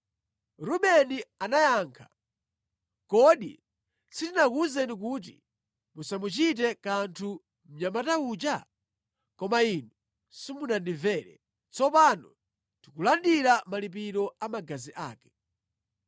Rubeni anayankha, “Kodi sindinakuwuzeni kuti musamuchite kanthu mnyamata uja? Koma inu simunamvere! Tsopano tikulandira malipiro a magazi ake.”